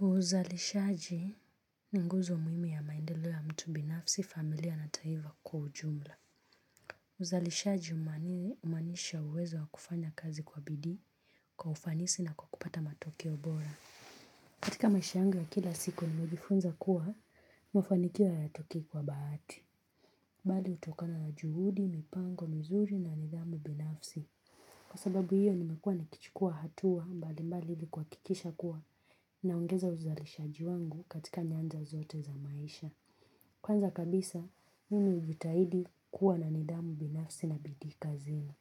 Uzalishaji ni nguzo muhimu ya maendeleo ya mtu binafsi familia na taiva kwa ujumla. Uzalishaji umaanisha uwezo wa kufanya kazi kwa bidii kwa ufanisi na kwa kupata matokeo bora. Katika maisha yangu ya kila siku nimejifunza kuwa mafanikio hayatokei kwa bahati. Bali utokana na juhudi, mipango, mizuri na nidhamu binafsi. Kwa sababu hiyo nimekua nikichukua hatua mbalimbali ili kuhakikisha kuwa. Naongeza uzalishaji wangu katika nyanja zote za maisha. Kwanza kabisa, mimi ujitahidi kuwa na nidhamu binafsi na bidii kazini.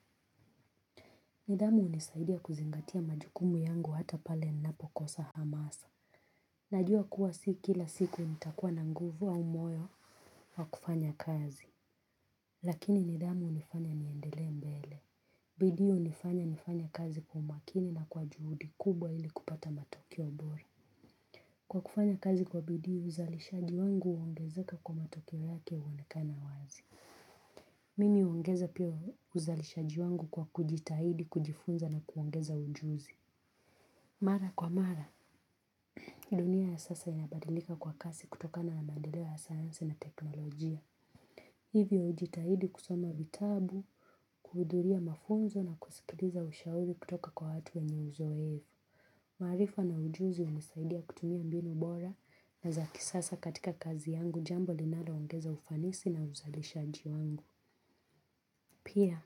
Nidhamu unisaidia kuzingatia majukumu yangu hata pale ninapokosa hamasa. Najua kuwa si kila siku nitakuwa na nguvu au moyo wa kufanya kazi. Lakini nidhamu unifanya niendelee mbele. Bidii unifanya nifanye kazi kwa umakini na kwa juhudi kubwa ili kupata matokeo bora. Kwa kufanya kazi kwa bidii uzalishaji wangu uongezeka kwa matokeo yake uonekana wazi. Mimi huongeza pia uzalishaji wangu kwa kujitahidi kujifunza na kuongeza ujuzi. Mara kwa mara, dunia ya sasa inabadilika kwa kasi kutokana na maendeleo ya sayansi na teknolojia. Hivyo hujitahidi kusoma vitabu, kuhudhuria mafunzo na kusikiliza ushauri kutoka kwa watu wenye uzoevu. Maarifa na ujuzi hunisaidia kutumia mbinu bora na za kisasa katika kazi yangu jambo linalo ongeza ufanisi na uzalishaji wangu. Pia,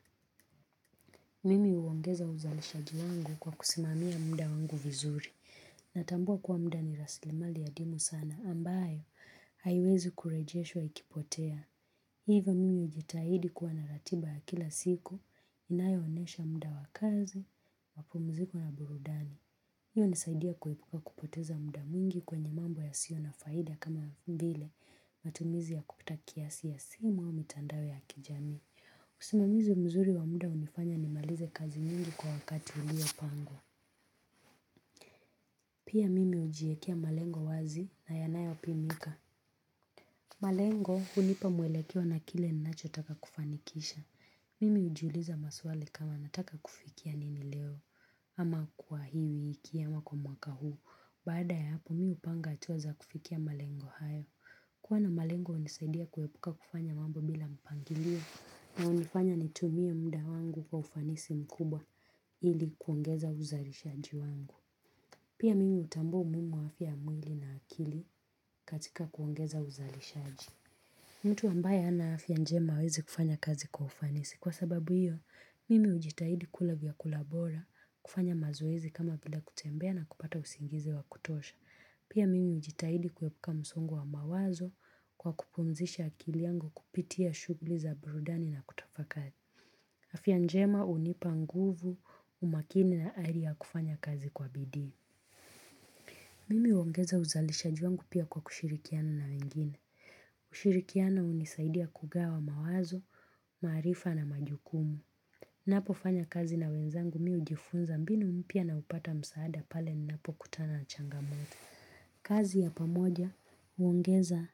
mimi uongeza uzalishaji wangu kwa kusimamia mda wangu vizuri. Natambua kwa mda ni raslimali adimu sana ambayo, haiwezi kurejeshwa ikipotea. Hivo mimi ujitahidi kwa na ratiba ya kila siku, inayoonesha mda wa kazi, mapumziko na burudani. Hii unisaidia kuepuka kupoteza muda mwingi kwenye mambo yasio na faida kama mbile matumizi ya kupita kiasi ya simu au mitandao ya kijamii. Usimamizi mzuri wa mda unifanya nimalize kazi mingi kwa wakati uliopangwa. Pia mimi ujiekea malengo wazi na yanayopimika. Malengo hunipa mwelekeo na kile ninachotaka kufanikisha. Mimi ujiuliza maswali kama nataka kufikia nini leo. Ama kwa hii wiki ama kwa mwaka huu. Baada ya hapo mi upanga atua za kufikia malengo hayo. Kuwa na malengo unisaidia kuepuka kufanya mambo bila mpangilio. Na unifanya nitumie mda wangu kwa ufanisi mkubwa. Ili kuongeza uzalishaji wangu. Pia mimi utambua umuhimu wa afya ya mwili na akili katika kuongeza uzalishaji. Mtu ambaye hana afya njema hawezi kufanya kazi kwa ufanisi. Kwa sababu hiyo, mimi ujitahidi kula vyakula bora, kufanya mazoezi kama vile kutembea na kupata usingizi wa kutosha. Pia mimi ujitahidi kuepuka msongo wa mawazo kwa kupumzisha akili yangu kupitia shughli za burudani na kutafakari. Afya njema unipa nguvu, umakini na ari ya kufanya kazi kwa bidii. Mimi huongeza uzalishaji wangu pia kwa kushirikiana na wengine. Ushirikiano unisaidia kugawa mawazo, maarifa na majukumu. Napofanya kazi na wenzangu mi ujifunza mbinu mpya na upata msaada pale ninapokutana na changamoto. Kazi ya pamoja, huongeza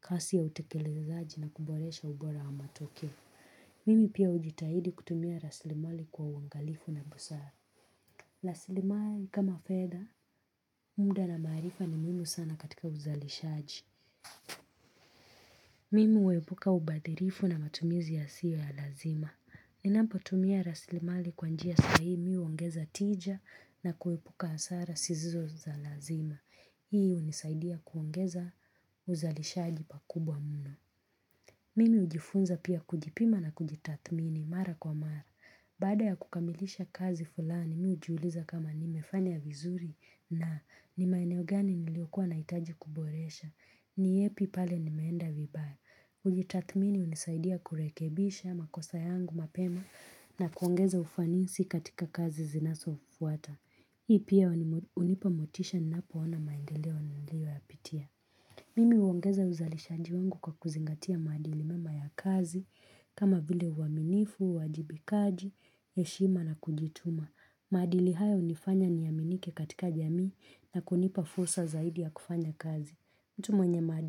kasi ya utekelezaji na kuboresha ubora wa matokeo. Mimi pia ujitahidi kutumia raslimali kwa uangalifu na busara. Raslimali kama fedha, mda na maarifa ni muhimu sana katika uzalishaji. Mimi uepuka ubadhilifu na matumizi yasiyo ya lazima. Ninapotumia raslimali kwa njia sahihi mi uongeza tija na kuepuka hasara sizizo za lazima. Hii unisaidia kuongeza uzalishaji pakubwa mno. Mimi ujifunza pia kujipima na kujitathmini mara kwa mara. Baada ya kukamilisha kazi fulani, mi ujiuliza kama nimefanya vizuri na ni maeneo gani niliokua naitaji kuboresha. Ni yepi pale nimeenda vibaya. Kujitathmini unisaidia kurekebisha makosa yangu mapema na kuongeza ufanisi katika kazi zinasofuata. Hii pia unipa motisha ninapoona maendeleo nilioyapitia. Mimi uongeza uzalishaji wangu kwa kuzingatia maadili mema ya kazi kama vile uwaminifu, uwajibikaji, heshima na kujituma. Maadili haya unifanya niaminike katika jamii na kunipa fursa zaidi ya kufanya kazi. Mtu mwenye.